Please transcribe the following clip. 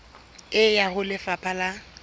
e ya ho lefapha la